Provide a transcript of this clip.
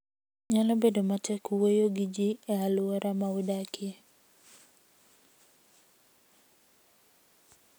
Nyalo bedo matek wuoyo gi ji e alwora ma udakie.